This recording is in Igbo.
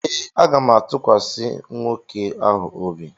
Ee, aga m atụkwasị nwoke ahụ obi.